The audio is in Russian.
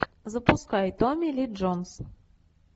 запускай томили джонс